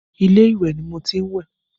Ilé ìwẹ̀ ni mo tí ń wẹ̀.